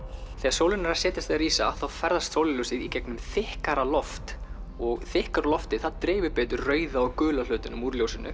þegar sólin er að setjast eða rísa þá ferðast sólarljósið í gegnum þykkara loft og þykkara loftið dreifir betur rauða og gula hlutanum úr ljósinu